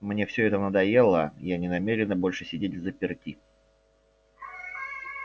мне все это надоело я не намерена больше сидеть взаперти